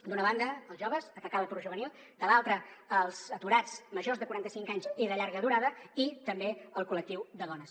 d’una banda als joves atacar l’atur juvenil de l’altra als aturats majors de quaranta cinc anys i de llarga durada i també al col·lectiu de dones